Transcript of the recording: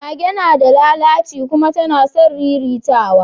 Mage nada lalaci kuma tana son riritawa